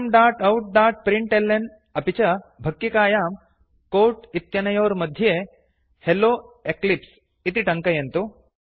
systemoutप्रिंटल्न अपि च भक्किकायां कोट् इत्यनयोर्मध्ये हेल्लो एक्लिप्स इति टङ्कयन्तु